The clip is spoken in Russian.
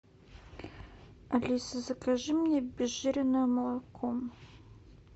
алиса закажи мне обезжиренное молоко